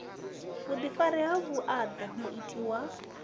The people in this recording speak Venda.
vhuḓifari ha vhuaḓa muiti wa